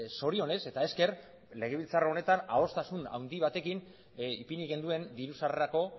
zorionez eta esker legebiltzar honetan adostasun batekin ipini genuen diru sarrerako